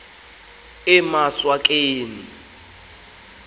emaswakeni